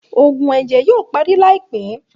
Òògùn ẹjẹ yoo parí laipẹ